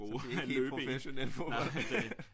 Så det er ikke helt professionel fodbold